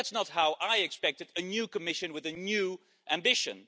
That's not how I expected a new Commission with a new ambition.